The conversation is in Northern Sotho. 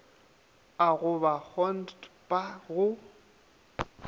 a go ba kgontpha go